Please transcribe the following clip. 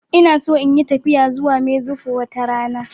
Ina so in yi tafiya zuwa Mexico wata rana.